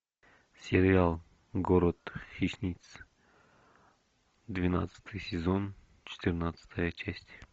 сериал город хищниц двенадцатый сезон четырнадцатая часть